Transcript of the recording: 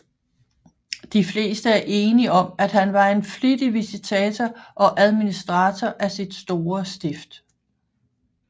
De fleste er enig om at han var en flittig visitator og administrator af sit store stift